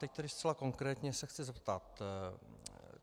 Teď tedy zcela konkrétně se chci zeptat.